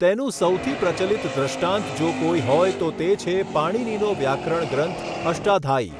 તેનું સૌથી પ્રચલિત દૃષ્ટાંત જો કોઈ હોય તો તે છે પાણિનીનો વ્યાકરણ ગ્રંથ અષ્ટાધાયી.